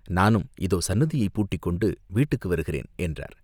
நானும் இதோ சந்நிதியைப் பூட்டிக்கொண்டு வீட்டுக்கு வருகிறேன்!" என்றார்.